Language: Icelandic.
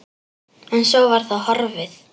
En svo var það horfið.